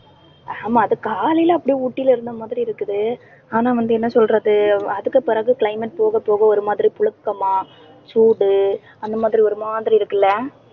ஆமா அது காலையில அப்படியே ஊட்டில இருந்த மாதிரி இருக்குது. ஆனா வந்து என்ன சொல்றது? அதுக்கு பிறகு climate போகப் போக ஒரு மாதிரி புழுக்கமா, சூடு அந்த மாதிரி ஒரு மாதிரி இருக்குல்ல